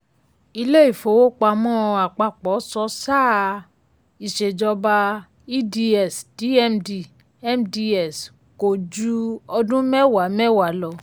ilé ìfowópamọ́ àpapọ̀ sọ sáà ìṣèjọba eds dmd mds kò ju ọdún mẹ́wàá mẹ́wàá lọ.